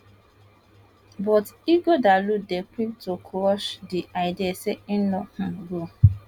but ighodalo dey quick to crush di idea say im no um go